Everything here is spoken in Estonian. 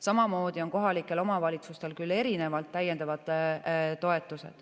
Samamoodi pakuvad kohalikud omavalitsused täiendavaid toetusi.